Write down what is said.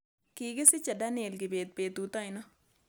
Kigisiche daniel kibet betut ainon